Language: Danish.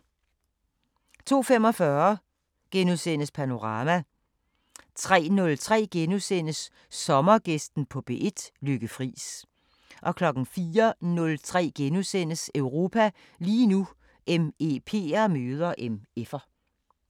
02:45: Panorama * 03:03: Sommergæsten på P1: Lykke Friis * 04:03: Europa lige nu: MEP'er møder MF'er *